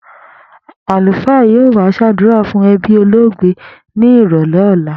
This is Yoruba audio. Àlùfàá yóò wá s̩àdúrà fún e̩bí olóògbé ní ìrò̩lé̩ ò̩la